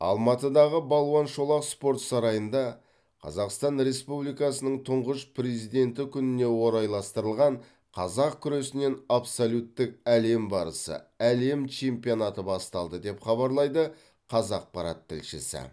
алматыдағы балуан шолақ спорт сарайында қазақстан республикасының тұңғыш президенті күніне орайластырылған қазақ күресінен абсолюттік әлем барысы әлем чемпионаты басталды деп хабарлайды қазақпарат тілшісі